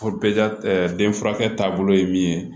den furakɛ taabolo ye min ye